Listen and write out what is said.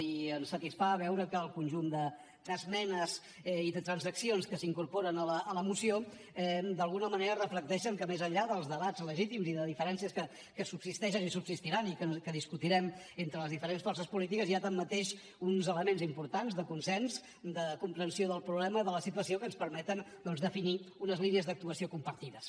i ens satisfà veure que el conjunt d’esmenes i de transaccions que s’incorporen a la moció d’alguna manera reflecteixen que més enllà dels debats legítims i de diferències que subsisteixen i subsistiran i que discutirem entre les diferents forces polítiques hi ha tanmateix uns elements importants de consens de comprensió del problema de la situació que ens permeten doncs definir unes línies d’actuació compartides